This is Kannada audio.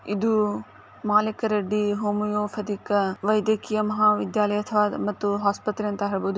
ಇದು ಮಾಲೀಕ ರೆಡ್ಡಿ ಹೋಮಿಯೋಪತಿ ವೈದ್ಯಕೀಯ ಮಹಾವಿದ್ಯಾಲಯ ಹಾಗೂ ಆಸ್ಪತ್ರೆ ಅಂತ ಹೇಳಬಹುದು .